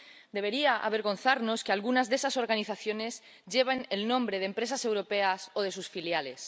Debería avergonzarnos que algunas de esas organizaciones lleven el nombre de empresas europeas o de sus filiales.